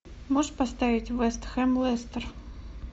можешь поставить вест хэм лестер